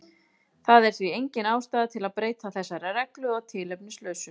Það er því engin ástæða til að breyta þessari reglu að tilefnislausu.